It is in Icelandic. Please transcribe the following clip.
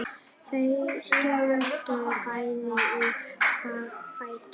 Þau stukku bæði á fætur.